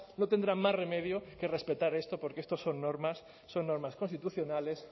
no tendrán más remedio que respetar esto porque esto son normas son normas constitucionales